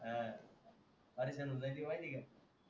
हां माहिती का